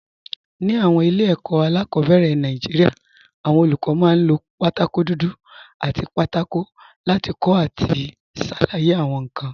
Ní àwọn ilé ẹ̀kọ́ alákọ̀ọ́bẹ̀rẹ̀ Nàìjíríà, àwọn olùkọ́ máa ń lo pátákó dúdú àti pátákó láti kọ àti ṣàlàyé àwọn nǹkan.